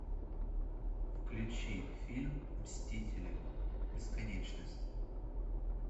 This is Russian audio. включи фильм мстители бесконечность